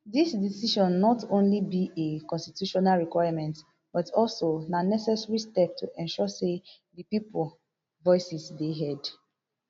dis decision not only be a constitutional requirement but also na necessary step to ensure say di pipo voices dey heard